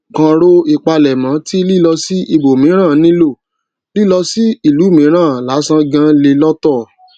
kàn ro ìpalẹmọ tí lílọ sí ibòmíràn nílò lílọ sí ìlú mìíràn lásán gan le lọtọ